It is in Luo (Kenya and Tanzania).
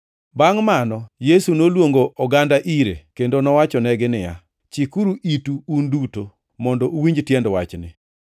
Bangʼ mano Yesu noluongo oganda ire kendo nowachonegi niya, “Chikuru itu, un duto, mondo uwinj tiend wachni.